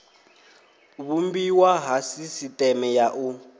vhumbiwa ha sisiteme ya u